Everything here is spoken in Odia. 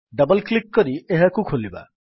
ଡବଲ୍ କ୍ଲିକ୍ କରି ଏହାକୁ ଖୋଲିବା